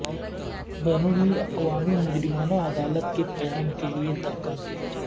بین الاقوامی مجرمانہ عدالت کے قیام کے لئے دھکا دیا